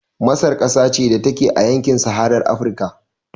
Masar ƙasa ce da take a yankin saharar Afrika